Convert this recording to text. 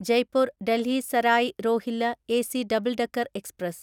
Jaipur Delhi Sarai Rohilla AC double decker express